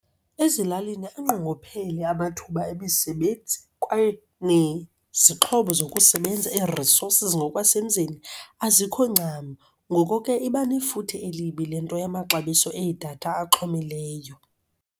Ezilalini anqongophele amathuba emisebenzi kwaye nezixhobo zokusebenza, ii-resources ngokwasemzini, azikho ncam. Ngoko ke iba nefuthe elibi le nto yamaxabiso eedatha axhomileyo.